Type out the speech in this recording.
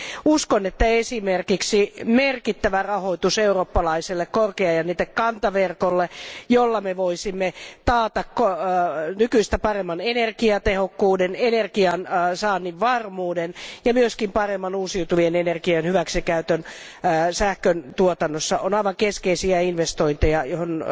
Uskon, että esimerkiksi merkittävä rahoitus eurooppalaiselle korkeajännitekantaverkolle, jolla me voisimme taata nykyistä paremman energiatehokkuuden, energian saannin varmuuden ja myös paremman uusiutuvien energioiden hyväksikäytön sähköntuotannossa, on aivan keskeisiä investointeja, johon